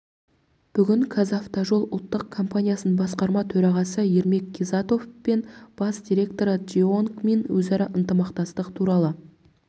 бүгін қазавтожол ұлттық компаниясының басқарма төрағасы ермек қизатов пен бас директоры джеонг мин өзара ынтымақтастық туралы